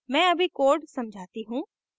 मैं अभी code समझाती हूँ